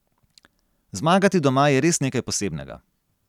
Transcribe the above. Zmagati doma je res nekaj posebnega.